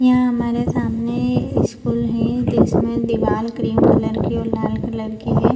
यहां हमारे सामने स्कूल है जिसमें दीवाल क्रीम कलर की और लाल कलर की है।